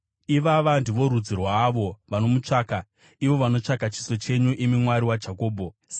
Ivava ndivo rudzi rwaavo vanomutsvaka, ivo vanotsvaka chiso chenyu, imi Mwari waJakobho. Sera